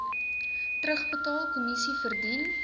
terugbetaal kommissie verdien